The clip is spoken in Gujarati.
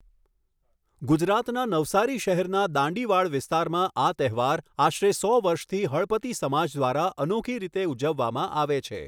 ગુજરાતના નવસારી શહેરના દાંડીવાઽ વિસ્તારમાં આ તહેવાર આશરે સો વર્ષથી હળપતિ સમાજ દ્વારા અનોખી રીતે ઉજવવામાં આવે છે.